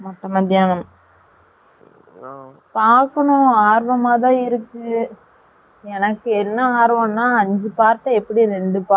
பாக்கனும் ஆர்வமா தான் இருக்கு, என்ன ஆர்வம் நா ஐஞ்சு part அ எப்படி ரெண்டு part அ ரெண்டு